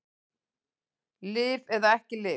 Lyf eða ekki lyf